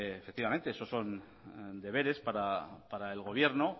efectivamente esos son deberes para el gobierno